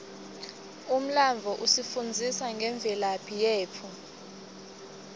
umlandvo usifundzisa ngemvelaphi yetfu